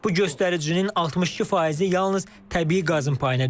Bu göstəricinin 62%-i yalnız təbii qazın payına düşür.